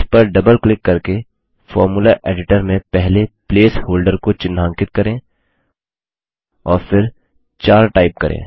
इस पर double click करके फॉर्मूला एडिटर में पहले प्लेस होल्डर को चिन्हांकित करें और फिर 4 टाइप करें